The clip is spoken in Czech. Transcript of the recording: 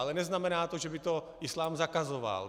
Ale neznamená to, že by to islám zakazoval.